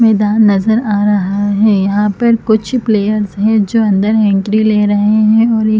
मैदान नज़र आ रहा है यहाँ पर कुछ प्लेयर्स है जो अंदर हैकड़ी ले रहै है और एक --